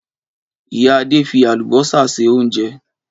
Ìyá Adé fi àlùbọ́sà se oúnjẹ.